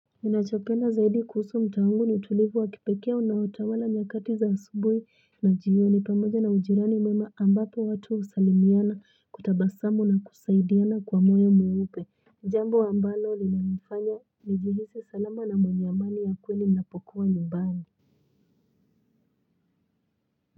Najopenda zaidi kuhusu mta wangu ni utulivua kipeke unaoutawala nyakati za asubui na jiyoni pamoja na ujirani mwema ambapo watu usalimiwana, kutabasamu na kusaidiana kwa moyo mweupe. Ijambo ambalo linanifanya, nijihisi salama na mwenyamani ya kweli napokuwa nyumbani.